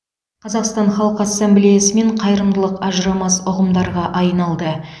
қазақстан халқы ассамблеясы мен қайырымдылық ажырамас ұғымдарға айналды